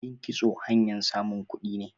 Yin kitso hanyan samun kudi ne.